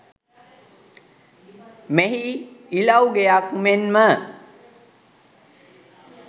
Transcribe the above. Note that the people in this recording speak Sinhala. මෙහි ඉලව් ගෙයක් මෙන්ම